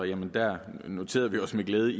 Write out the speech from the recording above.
i venstre noterede vi os med glæde